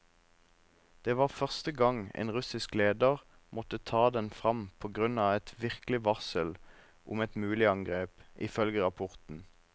Det var første gang en russisk leder måtte ta den frem på grunn av et virkelig varsel om et mulig angrep, ifølge rapporten.